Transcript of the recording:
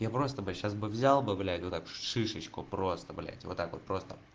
я просто бы сейчас бы взял бы блять вот так шишечку просто блять вот так вот просто